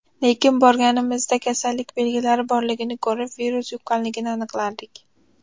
Lekin borganimizda kasallik belgilari borligini ko‘rib, virus yuqqanligini aniqlardik.